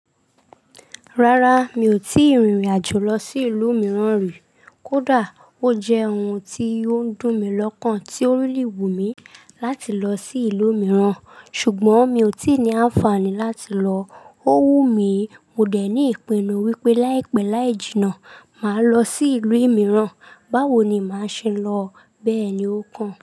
Rárá, mi ò tí ì rìnrìn àjò lọ sí ìlú mìíràn rí. Kódà ó jẹ́ ohun tí ó ń dùn mí lọ́kàn tí ó really wù mí láti lọ sí ìlú mìíràn ṣùgbọ́n mi ò tí ì ní àǹfààní láti lọ. Ó wù mí, mo dẹ̀ ní ìpinnu wípé láìpẹ́ láì jìnnà, màá lọ sí ìlú mìíràn. Báwo ni màá ṣe lọ? Bẹ́ẹ̀ ni ó kàn.